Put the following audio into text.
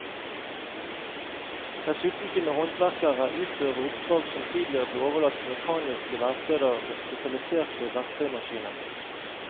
Dessuten kunne håndverkere utføre oppdrag som tidligere ble overlatt til mekaniske verksteder med spesialiserte verktøymaskiner.